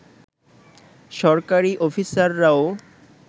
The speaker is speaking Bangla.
সরকারি অফিসাররাও